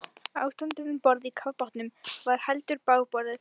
Ástandið um borð í kafbátnum var heldur bágborið.